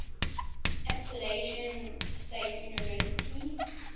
appalachian state university